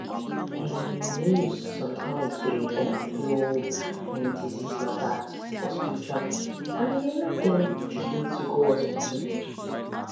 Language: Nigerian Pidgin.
um news sometimes dey um blow um disease matter for spiritual people and e dey make dem delay to go hospital